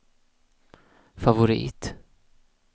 favorit